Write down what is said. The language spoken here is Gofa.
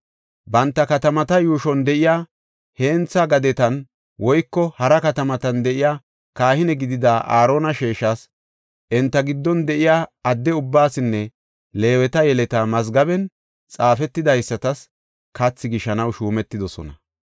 Banta katamata yuushon de7iya hentha gadetan woyko hara katamatan de7iya kahine gidida Aarona sheeshas, enta giddon de7iya adde ubbaasinne Leeweta yeleta mazgaben xaafetidaysatas kathi gishanaw shuumetidosona.